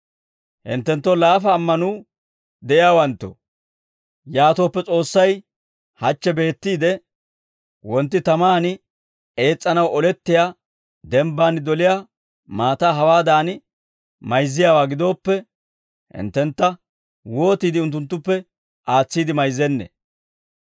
Hinttenttoo laafa ammanuu de'iyaawanttoo, yaatooppe S'oossay hachche beettiide, wontti tamaan ees's'anaw olettiyaa, denbbaan doliyaa maataa hawaadan mayzziyaawaa gidooppe, hinttentta wootiide unttunttuppe aatsiide mayzzennee?